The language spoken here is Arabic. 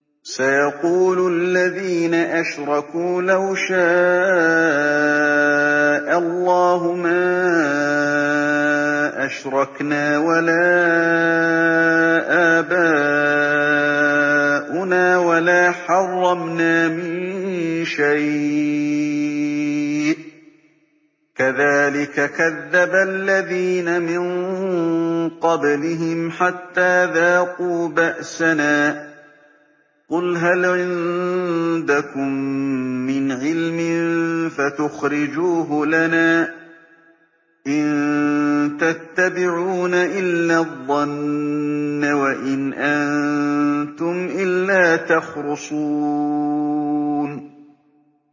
سَيَقُولُ الَّذِينَ أَشْرَكُوا لَوْ شَاءَ اللَّهُ مَا أَشْرَكْنَا وَلَا آبَاؤُنَا وَلَا حَرَّمْنَا مِن شَيْءٍ ۚ كَذَٰلِكَ كَذَّبَ الَّذِينَ مِن قَبْلِهِمْ حَتَّىٰ ذَاقُوا بَأْسَنَا ۗ قُلْ هَلْ عِندَكُم مِّنْ عِلْمٍ فَتُخْرِجُوهُ لَنَا ۖ إِن تَتَّبِعُونَ إِلَّا الظَّنَّ وَإِنْ أَنتُمْ إِلَّا تَخْرُصُونَ